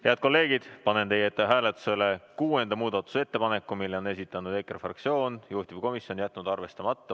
Head kolleegid, panen teie ette hääletusele kuuenda muudatusettepaneku, mille on esitanud EKRE fraktsioon, juhtivkomisjon on jätnud arvestamata.